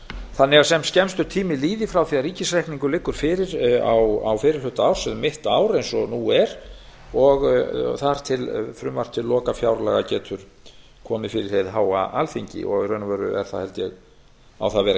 þannig að sem skemmstur tími líði frá því að ríkisreikningur liggur fyrir á fyrri hluta árs eða um mitt ár eins og nú er og þar til frumvarp til lokafjárlaga getur komið fyrir hið háa alþingi og í raun og veru á það að vera